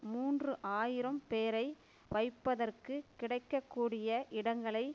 மூன்று ஆயிரம் பேரை வைப்பதற்குக் கிடைக்க கூடிய இடங்களை